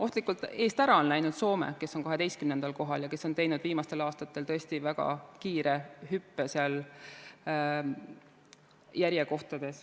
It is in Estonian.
Ohtlikult eest ära on läinud Soome, kes on 12. kohal ja teinud viimasel aastatel tõesti väga kiire hüppe.